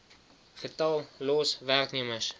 getal los werknemers